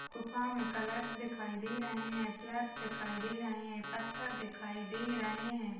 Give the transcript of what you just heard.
गुफा में कलर्स दिखाई दे रहे है दिखाई दे रहे हैं पत्थर दिखाई दे रहे हैं।